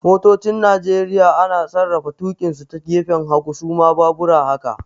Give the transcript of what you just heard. Motocin Nigeria ana sarrafa tukinsu ta gefen hagu, su ma baabura haka